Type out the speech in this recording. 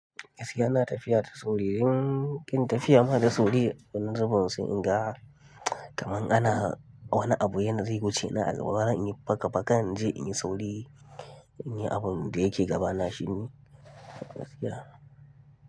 Gaskiya ina tafiya da sauri. In kin tafiya na da sauri, wani zubun sai inga. Kaman ana wani abu yana zai wuce, ina a gaba zan yi faka faka in je in yi sauri, in yi abin da yake gabana shi ne gaskiya.